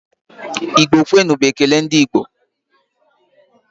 Igbo kwenu! bụ ekele ndị Igbo.